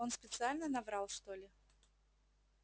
он специально наврал что ли